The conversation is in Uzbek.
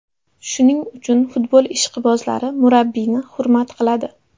Shuning uchun futbol ishqibozlari murabbiyni hurmat qiladi.